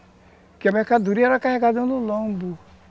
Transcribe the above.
Porque a mercadoria era carregada no lombo.